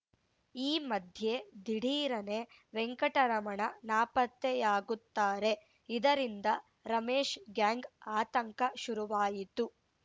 ಈ ಮಧ್ಯೆ ದಿಢೀರನೇ ವೆಂಕಟರಮಣ ನಾಪತ್ತೆಯಾಗುತ್ತಾರೆ ಇದರಿಂದ ರಮೇಶ್‌ ಗ್ಯಾಂಗ್‌ ಆತಂಕ ಶುರುವಾಯಿತು